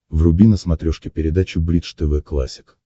вруби на смотрешке передачу бридж тв классик